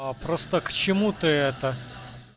а просто к чему ты это